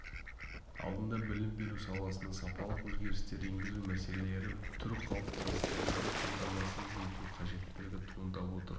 алдында білім беру саласына сапалық өзгерістер енгізу мәселелері тұр қалыптастыруды қамтамасыз ету қажеттілігі туындап отыр